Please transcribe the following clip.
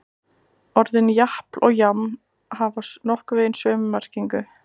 Orðin japl og jaml hafa nokkurn veginn sömu merkingu.